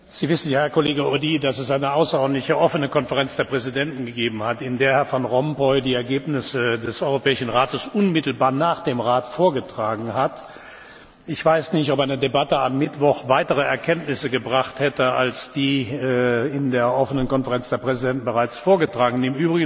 Herr Audy! Sie wissen ja, dass es eine außerordentliche offene Konferenz der Präsidenten gegeben hat, in der Herr Van Rompuy die Ergebnisse des Europäischen Rates unmittelbar nach dem Rat vorgetragen hat. Ich weiß nicht, ob eine Debatte am Mittwoch weitere Erkenntnisse gebracht hätte als die in der offenen Konferenz der Präsidenten bereits vorgetragenen.